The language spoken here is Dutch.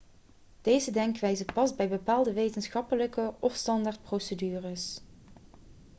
deze denkwijze past bij bepaalde wetenschappelijke of standaardprocedures